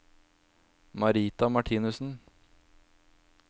Marita Martinussen